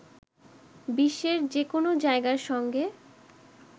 বিশ্বের যে কোন জায়গার সংগে